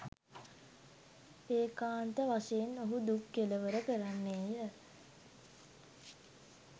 ඒකාන්ත වශයෙන් ඔහු දුක් කෙළවර කරන්නේ ය.